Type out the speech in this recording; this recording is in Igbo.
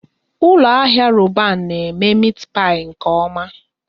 Ụlọ ahịa Roban na eme meti pai nke oma